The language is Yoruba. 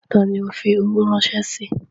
Ta ni ń óò fi owó ránṣẹ́ sí?